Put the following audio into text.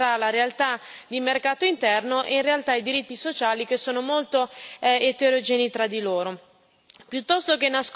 Quindi si ha una asimmetria tra la realtà del mercato interno e in realtà i diritti sociali, che sono molto eterogenei tra di loro.